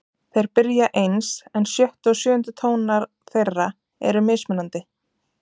Þeir byrja eins en sjöttu og sjöundu tónar þeirra eru mismunandi.